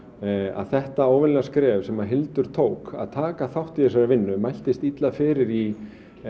að þetta óvenjulega skref sem Hildur tók að taka þátt í þessari vinnu mæltist illa fyrir í